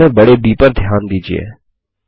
books में बड़े ब पर ध्यान दीजिये